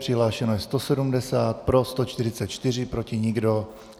Přihlášeno je 170, pro 144, proti nikdo.